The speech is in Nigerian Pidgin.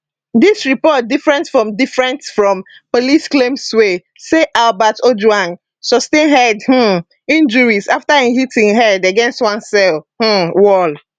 dis report different from different from police claimswey say albert ojwang sustain head um injuries afta e hit im head against one cell um wall